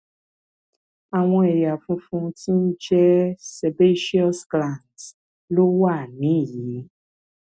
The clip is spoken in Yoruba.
àwọn ẹyà funfun tí ń jẹ sébèceous glands ló wà níhìnín